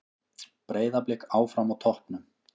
Breiðablik áfram á toppnum